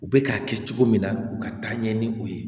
U bɛ k'a kɛ cogo min na u ka taa ɲɛ ni o ye